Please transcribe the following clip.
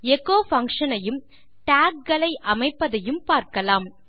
echo function ஐயும் docs களை அமைப்பதையும் பார்க்கலாம்